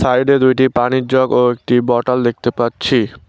সাইডে দুইটি পানির জগ ও একটি বটল দেখতে পাচ্ছি।